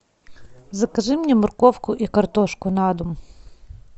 закажи мне морковку и картошку на дом